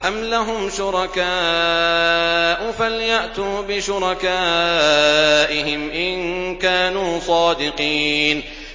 أَمْ لَهُمْ شُرَكَاءُ فَلْيَأْتُوا بِشُرَكَائِهِمْ إِن كَانُوا صَادِقِينَ